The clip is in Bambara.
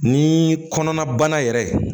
Ni kɔnɔna bana yɛrɛ